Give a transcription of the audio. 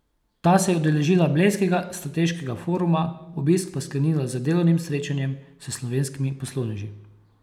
Ta se je udeležila Blejskega strateškega foruma, obisk pa sklenila z delovnim srečanjem s slovenskimi poslovneži.